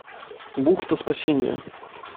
бухта спасения